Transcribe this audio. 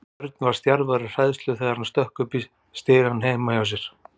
Örn var stjarfur af hræðslu þegar hann stökk upp stigana heima hjá sér.